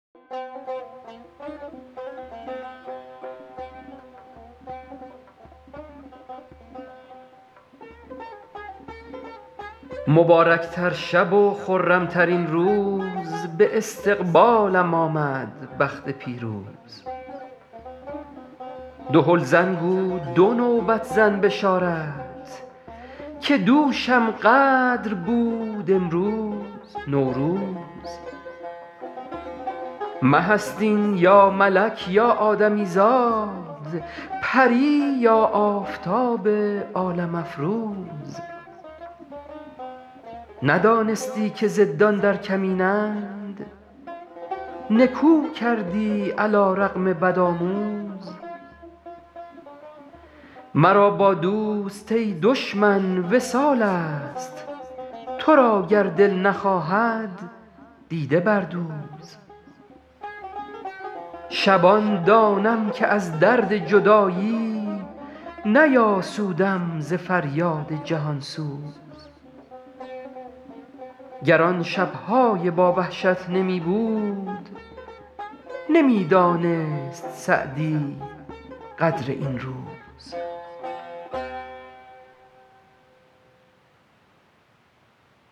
مبارک تر شب و خرم ترین روز به استقبالم آمد بخت پیروز دهل زن گو دو نوبت زن بشارت که دوشم قدر بود امروز نوروز مه است این یا ملک یا آدمی زاد پری یا آفتاب عالم افروز ندانستی که ضدان در کمینند نکو کردی علی رغم بدآموز مرا با دوست ای دشمن وصال است تو را گر دل نخواهد دیده بردوز شبان دانم که از درد جدایی نیاسودم ز فریاد جهان سوز گر آن شب های با وحشت نمی بود نمی دانست سعدی قدر این روز